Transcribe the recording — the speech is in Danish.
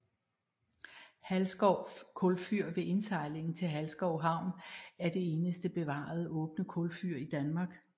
Halsskov kulfyr ved indsejlingen til Halsskov Havn er det eneste bevarede åbne kulfyr i Danmark